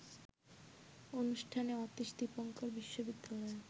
অনুষ্ঠানে অতীশ দীপঙ্কর বিশ্ববিদ্যালয়ে